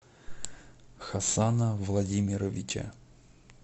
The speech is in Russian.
хасана владимировича